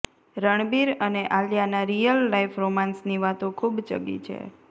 રણબીર અને આલિયાનાં real life રોમાન્સની વાતો ખૂબ ચગી છે